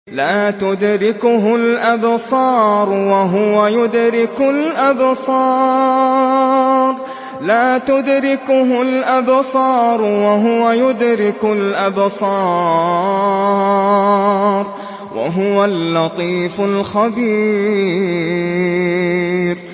لَّا تُدْرِكُهُ الْأَبْصَارُ وَهُوَ يُدْرِكُ الْأَبْصَارَ ۖ وَهُوَ اللَّطِيفُ الْخَبِيرُ